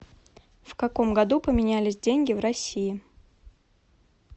в каком году поменялись деньги в россии